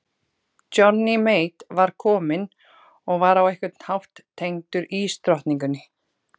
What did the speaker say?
Johnny Mate var kominn og var á einhvern hátt tengdur ísdrottningunni.